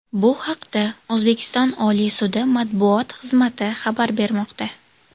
Bu haqda O‘zbekiston Oliy sudi matbuot xizmati xabar bermoqda .